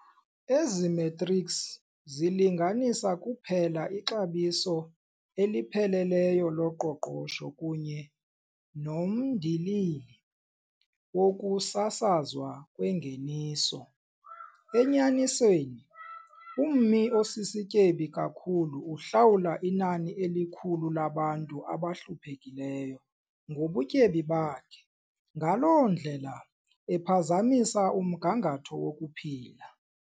Ezi metrics zilinganisa kuphela ixabiso elipheleleyo loqoqosho kunye nomndilili wokusasazwa kwengeniso. Enyanisweni, ummi osisityebi kakhulu uhlawula inani elikhulu labantu abahluphekileyo ngobutyebi bakhe, ngaloo ndlela ephazamisa umgangatho wokuphila.